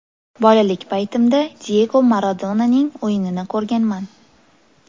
Bolalik paytimda Diyego Maradonaning o‘yinini ko‘rganman.